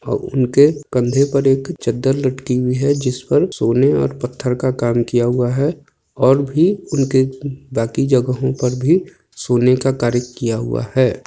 और उनके कंधे पर एक चद्दर लटकी हुई हे जिस पर सोने ओर पत्थर का काम किया हुआ है और भी उनके म्म बाकी जगहों पर भी सोने का कार्य किया हुआ है।